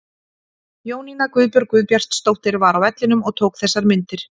Jónína Guðbjörg Guðbjartsdóttir var á vellinum og tók þessar myndir.